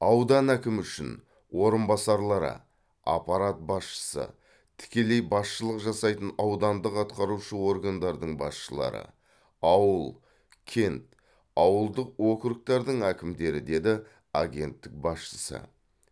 аудан әкімі үшін орынбасарлары аппарат басшысы тікелей басшылық жасайтын аудандық атқарушы органдардың басшылары ауыл кент ауылдық окургтардың әкімдері деді агенттік басшысы